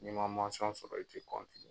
N'i ma sɔrɔ , i tɛ bɔ !